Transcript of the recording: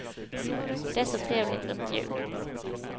Det är så trevligt runt jul.